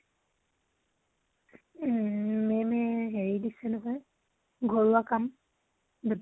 উম ma'am এ হেৰি দিছে নহয়, ঘৰুৱা কাম দুটা।